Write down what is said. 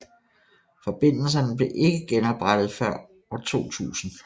Forbindelserne blev ikke genoprettede før 2000